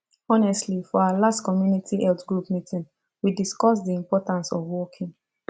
honestly for our last community health group meeting we discuss the importance of walking